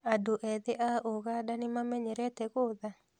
Adũ ethĩ a Uganda nĩmamenyerete gũtha?